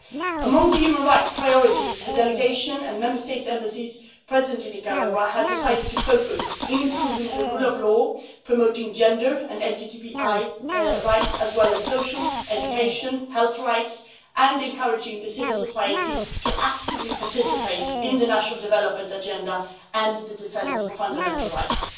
Among the human right priorities, the delegation and Member States' embassies present in Nicaragua have decided to focus on improving the rule of law, promoting gender and LGBTI rights, as well as social, education health rights, and encouraging civil society to participate actively in the national development agenda and in the defence of fundamental rights.